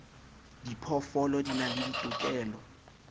diphoofolo di na le ditokelo